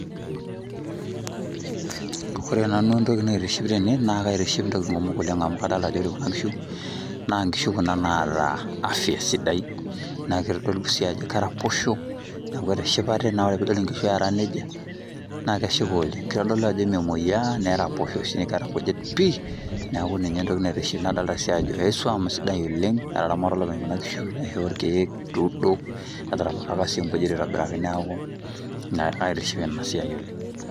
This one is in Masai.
Ore nanu entoki naitiship tene, na kaitiship ntokiting kumok oleng' amu kadalta ajo ore kuna kishu, na nkishu kuna naata afya sidai, na kitodolu si ajo keraposho, neku etishipate, na ore pidol inkishu eera nejia, na keshipa oleng'. Kitodolu ajo memoyiaa, neraposho. Neeta nkujit pii. Neeku ninye entoki naitiship, nadolta ajo ai swuam sidai oleng',etaramata olopeny kuna kishu aisho irkeek, etuudo, etaramataka si nkujit aitobiraki neeku ina aitiship enasiai oleng'.